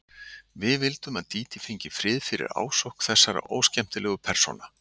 Við vildum að Dídí fengi frið fyrir ásókn þessara óskemmtilegu persóna.